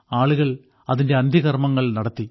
ആളുകൾ അതിന്റെ അന്ത്യകർമ്മങ്ങൾ നടത്തി